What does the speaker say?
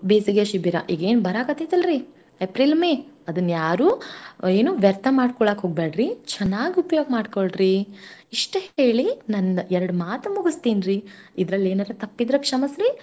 ಈ ಬೇಸಿಗೆ ಶಿಬಿರ ಈಗೇನ್ ಬರಾಕತ್ತೀತಲ್ರೀ April, May ಅದನ್ ಯಾರೂ ಅ ಏನು ವ್ಯರ್ಥ ಮಾಡ್ಕೊಳೋಕ್ ಹೋಗ್ಬ್ಯಾಡ್ರಿ ಚನಾಗ್ ಉಪಯೋಗ್ ಮಾಡ್ಕೊಳ್ರಿ ಇಷ್ಟ್ ಹೇಳಿ ನಂದ್ ಎರಡ್ ಮಾತ್ ಮುಗುಸ್ತೀನ್ರೀ. ಇದ್ರಲ್ ಏನರ ತಪ್ಪಿದ್ರ ಕ್ಷಮಸ್ರೀ.